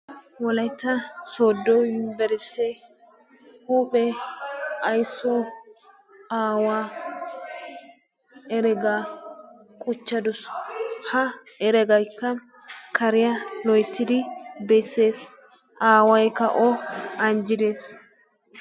wolaytta soodo yunbursee huuphe aysso aawaa eregaa quchcha dusu. ha eregaykka kariya loyttidi besees, aawaykka o anjjidees.